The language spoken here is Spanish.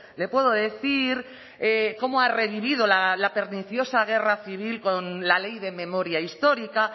le puedo decir cómo ha revivido la perniciosa guerra civil con la ley de memoria histórica